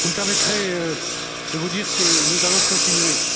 Vous me permettrez de vous dire que nous allons continuer,